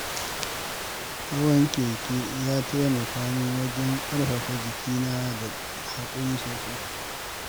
Hawan keke ya taimaka min wajen ƙarfafa jikina da haƙuri sosai.